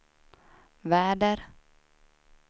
väder